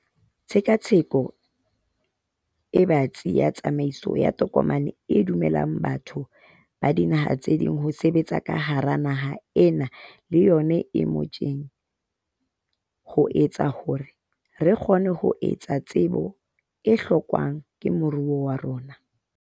Tshekatsheko e batsi ya tsamaiso ya tokomane e dumellang batho ba dinaha tse ding ho sebetsa ka hara naha ena le yona e motjheng ho etsa hore re kgone ho hohela tsebo e hlokwang ke moruo wa rona.